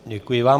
Děkuji vám.